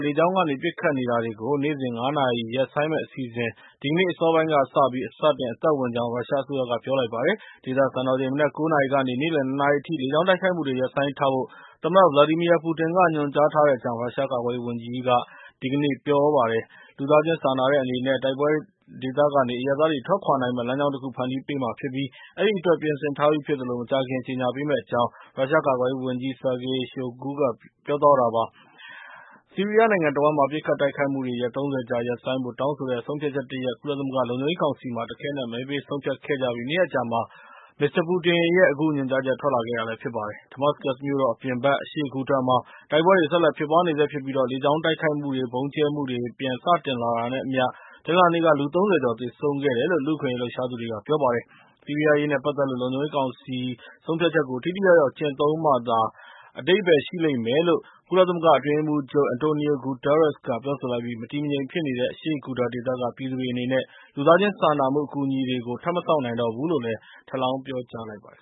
လေကြောင်းကနေ ပစ်ခတ်နေတာတွေကို နေ့စဉ် ၅ နာရီ ရပ်ဆိုင်းမယ့်အစီအစဉ် ဒီကနေ့ အစောပိုင်းကစပြီး စတင်အသက်ဝင်ကြောင်း ရုရှားအစိုးရက ပြောပါတယ်။ ဒေသစံတော်ချိန် မနက် ၉ နာရီကနေ နေ့လယ် ၂ နာရီအထိ လေကြောင်းတိုက်ခိုက်မှုတွေ ရပ်ဆိုင်းထားဖို့ သမ္မတ Vladimir Putin က ညွန်ကြားထားတဲ့အကြောင်း ရုရှား ကာကွယ်ရေးဝန်ကြီးက ဒီကနေ့ ပြောဆိုခဲ့တာပါ။ လူသားချင်းစာနာတဲ့ အနေနဲ့ တိုက်ပွဲဒေသကနေ အရပ်သားတွေ ထွက်ခွာနိုင်မယ့် လမ်းကြောင်းတခု ဖန်တီးပေးမှာ ဖြစ်ပြီး အဲဒီအတွက် ပြင်ဆင်ထားပြီး ဖြစ်သလို၊ မကြာခင်မှာ ကြေညာ ပေးမယ့်အကြောင်း ရုရှားကာကွယ်ရေးဝန်ကြီး Sergei Shoigu ပြောသွားတာပါ။ ဆီးရီးယားနိုင်ငံတဝှမ်း ပစ်ခတ်တိုက်ခိုက်မှုတွေ ရက် ၃၀ ကြာ ရပ်ဆိုင်းဖို့တောင်းဆိုတဲ့ ဆုံးဖြတ်ချက်တရပ် ကုလသမဂ္ဂ လုံခြုံရေးကောင်စီမှာ တခဲနက် မဲပေး ဆုံးဖြတ်ခဲ့ကြပြီး နှစ်ရက်အကြာမှာ မစ္စတာ ပူတင်ရဲ့ အခုညွန်ကြားချက် ထွက်လာတာပါ။ Damascus မြို့တော်အပြင်ဘက် အရှေ့ဂူတာမှာ တိုက်ပွဲတွေ ဆက်လက် ဖြစ်ပွားနေဆဲ ဖြစ်ပြီး လေကြောင်းတိုက်ခိုက်မှုတွေနဲ့ ဗုံးကျဲမှုတွေ ပြန်စတင်လာတာနဲ့အမျှ တနင်္လာနေ့က လူ ၃၀ ကျော် သေဆုံးခဲ့တယ်လို့ လူ့အခွင့်အရေး လှုပ်ရှားသူတွေက ပြောပါတယ်။ ဆီးရီးယားအရေးနဲ့ပတ်သက်လို့ လုံခြုံရေးကောင်စီ ဆုံးဖြတ်ချက်ကို ထိထိရောက်ရောက် ကျင့်သုံးမှသာ အဓိပ္ပာယ် ရှိလိမ့်မယ်လို့ ကုလသမဂ္ဂ အတွင်းရေးမှူးချုပ် အန်တိုနီယို ဂူတားရက်စ် ကလည်း ပြောဆိုလိုက်ပြီး မတည်မငြိမ် ဖြစ်နေတဲ့ အရှေ့ဂူတာ ဒေသက ပြည်သူတွေအနေနဲ့ လူသားချင်း စာနာမှု အကူအညီတွေကို ထပ်မစောင့်နိုင်တော့ဘူးလို့လည်း ထပ်လောင်း ပြောဆိုလိုက်ပါတယ်